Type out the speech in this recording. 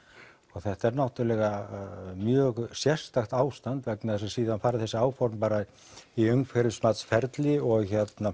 og þetta er náttúrulega mjög sérstakt ástand vegna þess að síðan fara þessi áform bara í umhverfismatsferli og